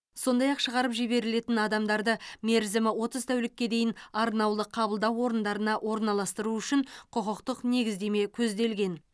сондай ақ шығарып жіберілетін адамдарды мерзімі отыз тәулікке дейін арнаулы қабылдау орындарына орналастыру үшін құқықтық негіздеме көзделген